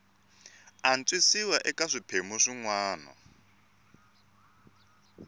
antswisiwa eka swiphemu swin wana